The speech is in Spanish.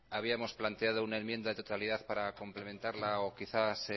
habíamos planteado una enmienda de totalidad para complementarla o quizás